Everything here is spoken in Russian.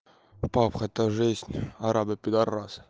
папбг это жизнь арабы пидорасы